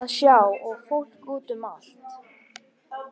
Það var margt að sjá og fólk út um allt.